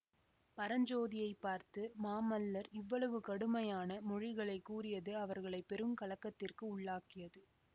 பரஞ்சோதியை பார்த்து மாமல்லர் இவ்வளவு கடுமையான மொழிகளைக் கூறியது அவர்களை பெருங்கலக்கத்திற்கு உள்ளாக்கியது